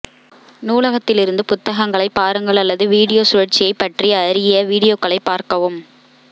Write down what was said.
நூலகத்திலிருந்து புத்தகங்களைப் பாருங்கள் அல்லது வீடியோ சுழற்சியைப் பற்றி அறிய வீடியோக்களைப் பார்க்கவும்